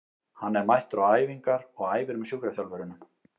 Hann er mættur á æfingar og æfir með sjúkraþjálfurunum.